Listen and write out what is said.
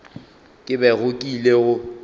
ke bego ke ile go